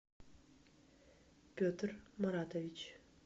петр маратович